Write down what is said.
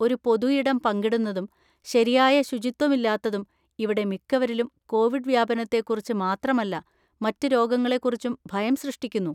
ഒരു പൊതു ഇടം പങ്കിടുന്നതും ശരിയായ ശുചിത്വമില്ലാത്തതും ഇവിടെ മിക്കവരിലും കോവിഡ് വ്യാപനത്തെക്കുറിച്ച് മാത്രമല്ല മറ്റ് രോഗങ്ങളെക്കുറിച്ചും ഭയം സൃഷ്ടിക്കുന്നു.